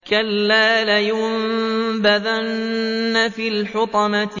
كَلَّا ۖ لَيُنبَذَنَّ فِي الْحُطَمَةِ